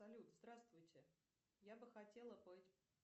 салют здравствуйте я бы хотела